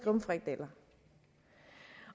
om frikadeller